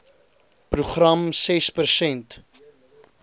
program ses persent